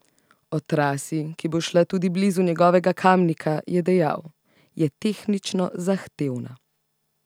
O trasi, ki bo šla tudi blizu njegovega Kamnika, je dejal: "Je tehnično zahtevna.